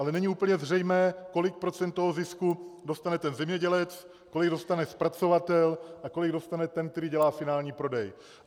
Ale není úplně zřejmé, kolik procent toho zisku dostane ten zemědělec, kolik dostane zpracovatel a kolik dostane ten, který dělá finální prodej.